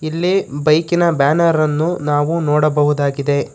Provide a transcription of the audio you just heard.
ಇಲ್ಲಿ ಬೈಕಿನ ಬ್ಯಾನರ್ ಅನ್ನು ನಾವು ನೋಡಬಹುದಾಗಿದೆ.